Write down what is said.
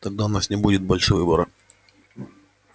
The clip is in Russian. тогда у нас не будет больше выбора